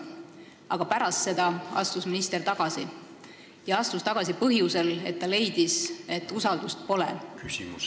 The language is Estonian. Aga pärast seda astus minister tagasi, ja astus tagasi põhjusel, et ta leidis, et usaldust pole.